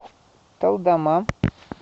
талдома